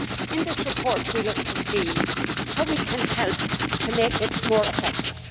In this report we look to see how we can help to make it more effective